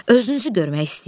Özünüzü görmək istəyirdi.